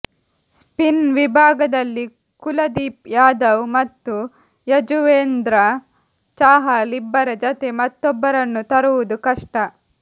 spin ವಿಭಾಗದಲ್ಲಿ ಕುಲದೀಪ್ ಯಾದವ್ ಮತ್ತು ಯಜುರ್ವೇಂದ್ರ ಚಾಹಲ್ ಇಬ್ಬರ ಜತೆ ಮತ್ತೊಬ್ಬರನ್ನು ತರುವುದು ಕಷ್ಟ